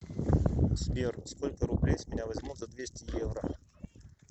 сбер сколько рублей с меня возьмут за двести евро